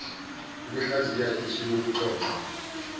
ukuhlaziya isu lokuxoxwa